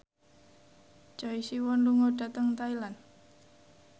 Choi Siwon lunga dhateng Thailand